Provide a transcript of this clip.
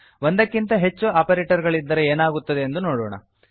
ಒಂದಕ್ಕಿಂತ ಹೆಚ್ಚು ಆಪರೇಟರ್ ಗಳಿದ್ದರೆ ಏನಾಗುತ್ತದೆಂದು ನೋಡೋಣ